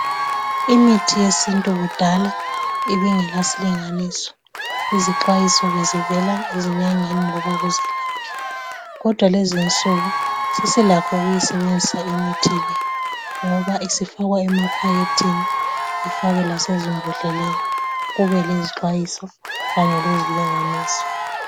imithi yesintu kudala ibingela silinganiso izixwayiso bezivela ezinyangeni or kuzelaphi kodwa lezinsuku sesi lakho ukuyisebenzisa imithi le ngoba isifakwa emaphakethini ifakwe lasemambodleleni kube lezixwayiso kanye lezilinganiso